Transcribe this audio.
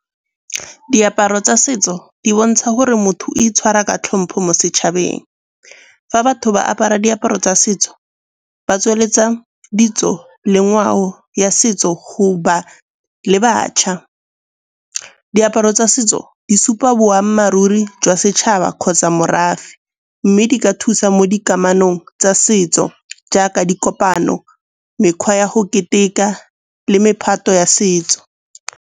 Diaparo tsa setso di bontsha gore motho itshwara ka tlhompho mo setšhabeng. Fa batho ba apara diaparo tsa setso ba tsweletsa ditso le ngwao ya setso go ba le bašwa. Diaparo tsa setso di supa boammaaruri jwa setšhaba kgotsa morafe. Mme di ka thusa mo dikamanong tsa setso jaaka dikopano, mekgwa ya go keteka le mephato ya setso.